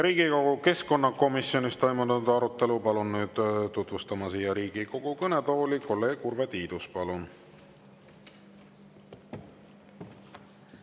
Riigikogu keskkonnakomisjonis toimunud arutelu palun nüüd siia Riigikogu kõnetooli tutvustama kolleeg Urve Tiiduse.